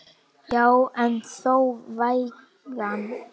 Já en þó vægan.